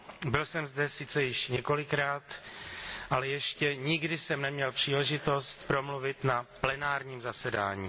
Byl jsem zde sice již několikrát, ale ještě nikdy jsem neměl příležitost promluvit na plenárním zasedání.